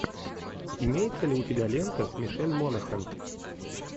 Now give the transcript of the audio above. имеется ли у тебя лента с мишель монахэн